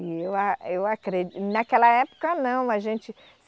E eu a, eu acre, naquela época não, a gente